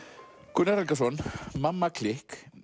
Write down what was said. Gunnar Helgason mamma klikk